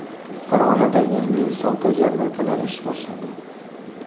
Farg‘onada Yangi yil savdo yarmarkalari ish boshladi.